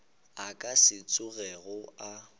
a ka se tsogego a